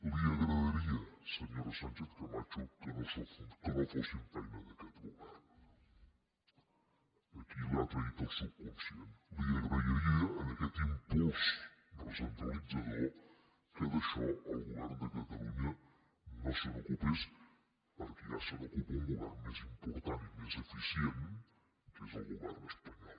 li agradaria senyora sánchez camacho que no fossin feina d’aquest govern aquí l’ha traït el subconscient li agradaria en aquest impuls recentralitzador que d’això el govern de catalunya no se n’ocupés perquè ja se n’ocupa un go vern més important i més eficient que és el govern espanyol